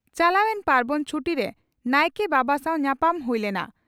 ᱪᱟᱞᱟᱣᱮᱱ ᱯᱟᱨᱵᱚᱱ ᱪᱷᱩᱴᱤ) ᱨᱮ ᱱᱟᱭᱠᱮ ᱵᱟᱵᱟ ᱥᱟᱣ ᱧᱟᱯᱟᱢ ᱦᱩᱭ ᱞᱮᱱᱟ ᱾